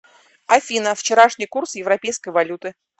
афина вчерашний курс европейской валюты